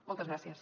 moltes gràcies